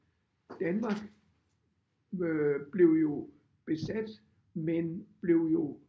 Danmark øh blev jo besat men blev jo